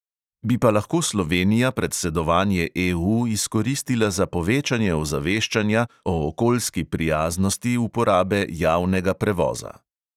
Bi pa lahko slovenija predsedovanje EU izkoristila za povečanje ozaveščanja o okoljski prijaznosti uporabe javnega prevoza.